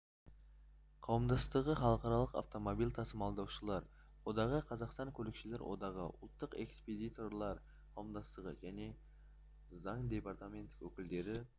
қауымдастығы халықаралық автомобиль тасымалдаушылар одағы қазақстан көлікшілер одағы ұлттық экспедиторлар қауымдастығы және заң департаментінің өкілдері